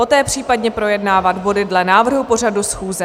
Poté případně projednávat body dle návrhu pořadu schůze.